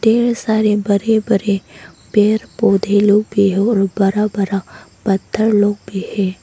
ढ़ेर सारे बड़े बड़े पेड़ पौधे लोग भी हैं और बड़ा बड़ा पत्थर लोग भी है।